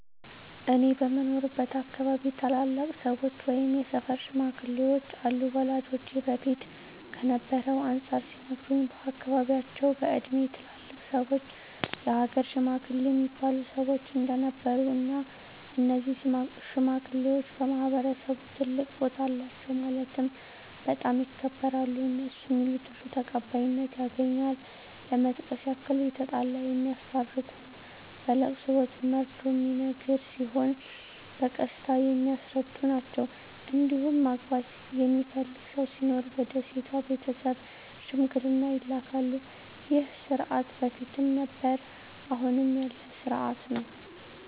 እኔ በምኖርበት አካባቢ ታላላቅ ሰዎች ወይም የሰፈር ሽማግሌዎች አሉ ወላጆቼ በፊት ከነበረው አንፃር ሲነግሩኝ በአካባቢያቸው በእድሜ ትላልቅ ሰዎች የሀገር ሽማግሌ እሚባሉ ሰዎች እንደነበሩ እና እነዚህ ሽማግሌዎች በማህበረሰቡ ትልቅ ቦታ አላቸው ማለትም በጣም ይከበራሉ እነሡ ሚሉት ሁሉ ተቀባይነት ያገኛል ለመጥቀስ ያክል የተጣላ የሚያስታርቁ በለቅሶ ወቅት መርዶ ሚነገር ሲሆን በቀስታ የሚያስረዱ ናቸዉ እንዲሁም ማግባት የሚፈልግ ሰው ሲኖር ወደ ሴቷ ቤተሰብ ሽምግልና ይላካሉ ይህ ስርዓት በፊትም ነበረ አሁንም ያለ ስርአት ነው።